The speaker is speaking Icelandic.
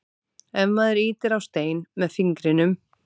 ef maður ýtir á stein með fingrinum